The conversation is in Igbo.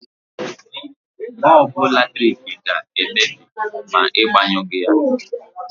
Bọlbụ latrik ga-emebi ma Ị gbanyụghị ya.